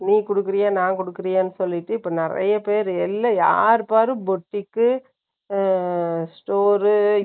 நீ குடுக்குறியா? நான் குடுக்குறியான்னு சொல்லிட்டு, இப்ப நிறைய பேரு, எல்லா யாரு பாரு, புட்டிக்கு, store